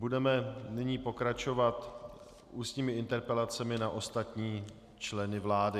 Budeme nyní pokračovat ústními interpelacemi na ostatní členy vlády.